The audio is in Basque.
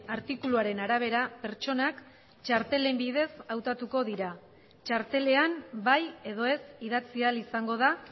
artikuluaren arabera pertsonak txartelen bidez hautatuko dira txartelean bai edo ez idatzi ahal izango da